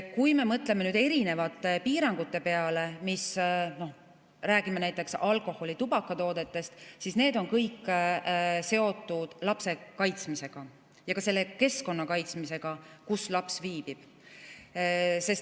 Kui me mõtleme erinevate piirangute peale, räägime näiteks alkoholi‑ ja tubakatoodetest, siis need on kõik seotud lapse kaitsmisega ja selle keskkonna kaitsmisega, kus laps viibib.